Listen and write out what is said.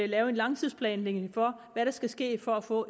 lave en langtidsplanlægning for hvad der skal ske for at få